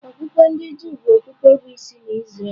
Okpukpe ndị Juu bụ okpukpe bụ́ isi n’Izrel.